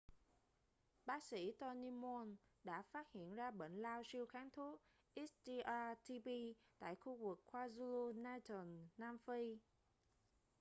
bác sĩ tony moll đã phát hiện ra bệnh lao siêu kháng thuốc xdr-tb tại khu vực kwazulu-natal nam phi